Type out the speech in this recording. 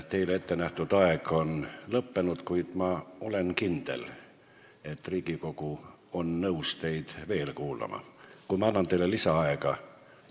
Teile ettenähtud aeg on lõppenud, kuid ma olen kindel, et Riigikogu on nõus teid veel kuulama, kui ma annan teile lisaaega.